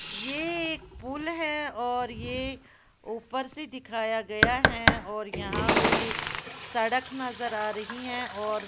ये एक पुल है और ये ऊपर से दिखाया गया है और यहां पे सड़क नजर आ रही है और--